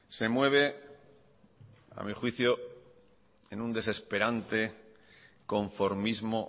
se mueve a mi juicio en un desesperante conformismo